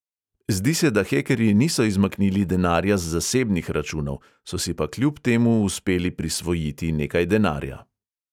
Zdi se, da hekerji niso izmaknili denarja z zasebnih računov, so si pa kljub temu uspeli prisvojiti nekaj denarja.